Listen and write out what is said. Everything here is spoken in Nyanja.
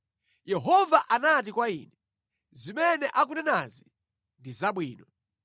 Yehova anati kwa ine, “Zimene akunenazi ndi zabwino.